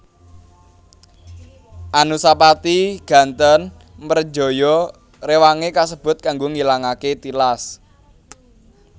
Anusapati gantèn mrejaya rewangé kasebut kanggo ngilangaké tilas